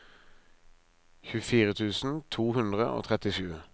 tjuefire tusen to hundre og trettisju